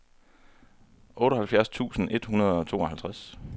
otteoghalvfjerds tusind et hundrede og tooghalvtreds